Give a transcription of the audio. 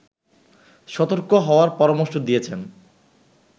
সতর্ক হওয়ার পরামর্শ দিয়েছেন